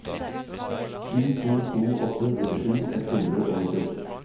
sju to to åtte nittisju ett hundre og nittiåtte